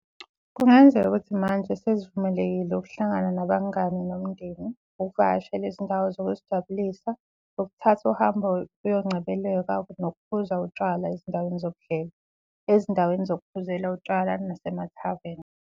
Kungenzeka ukuthi manje sesivumelekile ukuhlangana nabangani nomndeni, ukuvakashela izindawo zokuzijabulisa, ukuthatha uhambo kuyoncebelekwa nokuphuza utshwala ezindaweni zokudlela, ezindaweni zokuphuzela utshwala nasemathaveni.